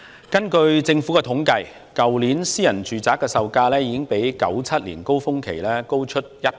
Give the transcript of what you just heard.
根據政府的統計，去年私人住宅售價已經較1997年的高峰期高出超過1倍。